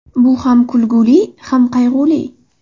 Bu ham kulgili, ham qayg‘uli.